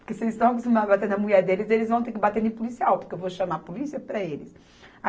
Porque se eles estão acostumados a bater na mulher deles, eles vão ter que bater em policial, porque eu vou chamar a polícia para eles.